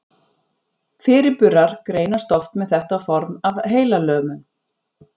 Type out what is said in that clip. Fyrirburar greinast oft með þetta form af heilalömun.